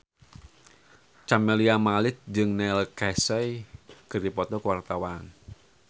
Camelia Malik jeung Neil Casey keur dipoto ku wartawan